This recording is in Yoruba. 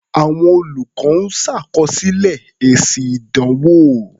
Àwọn olùkọ́ ń ṣàkọsílẹ̀ èsì ìdánwò.